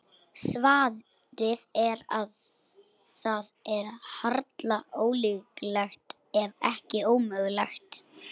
Svarið er að það er harla ólíklegt, ef ekki ómögulegt.